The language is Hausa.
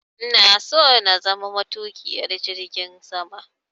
Ina so na zama matuƙiyar jirgin sama.